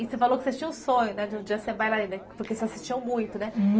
E você falou que vocês tinham um sonho de um dia ser bailarinas, porque vocês assistiam muito, né?